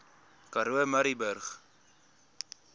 karoo murrayburg